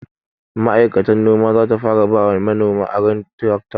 Ma'aikatar noma zata fara bawa manoma aron tirakta